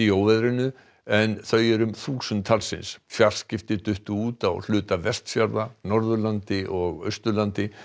óveðrinu en þau eru um þúsund talsins fjarskipti duttu út á hluta Vestfjarða Norðurlandi og Austurlandi